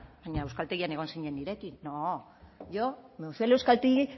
baina euskaltegian egon zinen nirekin no yo cuando fui al euskaltegui